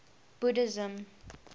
buddhism